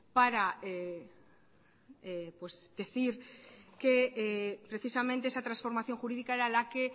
para decir que precisamente esa transformación jurídica era la que